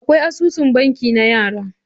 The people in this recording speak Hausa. Akwai asusun banki na yara.